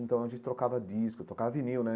Então a gente trocava disco, trocava vinil, né?